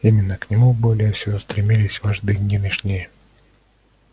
именно к нему более всего стремились вожди нынешние